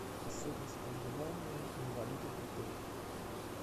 особенность проживания инвалидов в отелях